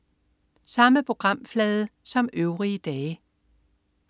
Samme programflade som øvrige dage